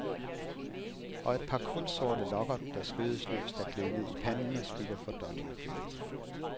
Og et par kulsorte lokker, der skødesløst er gledet ned i panden og skygger for dådyrblikket.